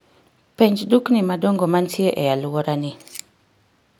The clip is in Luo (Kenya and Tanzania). penj dukni madongo mantie e alwora ni